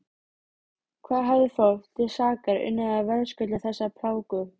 Hvað hafði fólk til sakar unnið að verðskulda þessa plágu?